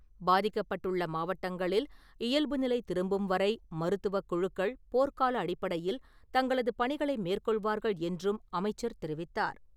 பாதிக்கப்பட்டுள்ள மாவட்டங்களில் இயல்பு நிலை திரும்பும் வரை மருத்துவக்குழுக்கள் போர்க்கால அடிப்படையில் தங்களது பணிகளை மேற்கொள்வார்கள் என்றும் அமைச்சர் தெரிவித்தார்.